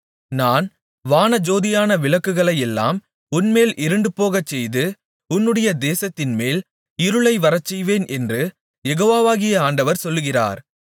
நான் வானஜோதியான விளக்குகளையெல்லாம் உன்மேல் இருண்டு போகச்செய்து உன்னுடைய தேசத்தின்மேல் இருளை வரச்செய்வேன் என்று யெகோவாகிய ஆண்டவர் சொல்லுகிறார்